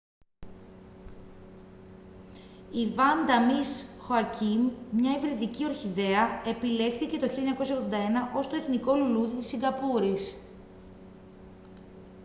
η vanda miss joaquim μια υβριδική ορχιδέα επιλέχθηκε το 1981 ως το εθνικό λουλούδι της σιγκαπούρης